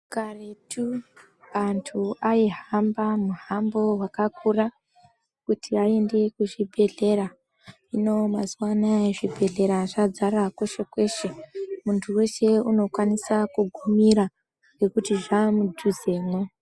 Karetu, anthu aihamba, muhambo wakakura, kuti aende kuzvibhedhlera, hino mazuwa anaa, zvibhedhlera zvadzara peshe-peshe. Munthu weshe unokwanisa kugumira, ngekuti zvaa mudhuzemwo.